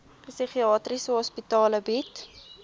psigiatriese hospitale bied